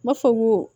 N b'a fɔ ko